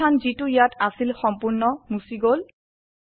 খালি স্থান যিটো ইয়াত আছিল সম্পূর্ণ মুছি গল